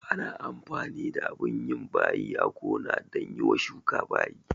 Ana amfani da abin yin bayi a gona dan yiwa shuka bayi